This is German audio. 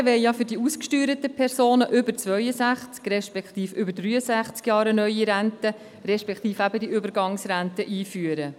Die Motionäre wollen ja für die ausgesteuerten Personen über 62 respektive über 63 Jahre eine neue Rente respektive eben die Übergangsrente einführen.